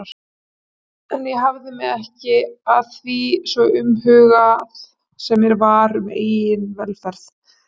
En ég hafði mig ekki að því, svo umhugað sem mér var um eigin velferð.